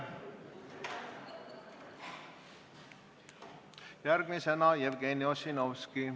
Järgmisena Jevgeni Ossinovski.